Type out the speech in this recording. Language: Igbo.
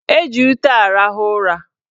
Eji ute arahụ ụra.